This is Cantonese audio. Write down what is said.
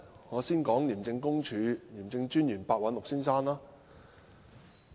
我先說廉政專員白韞六先生。